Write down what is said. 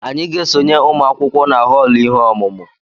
Anyị ga-esonye ụmụ akwụkwọ na họọlụ ihe ọmụmụ